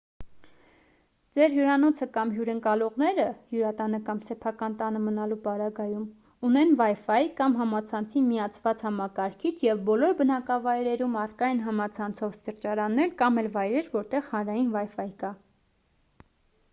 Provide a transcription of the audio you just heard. ձեր հյուրանոցը կամ հյուրընկալողները հյուրատանը կամ սեփական տանը մնալու պարագայում ունեն wifi կամ համացանցին միացված համակարգիչ և բոլոր բնակավայրերում առկա են համացանցով սրճարաններ կամ էլ վայրեր որտեղ հանրային wifi կա: